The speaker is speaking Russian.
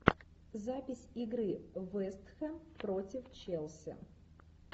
запись игры вест хэм против челси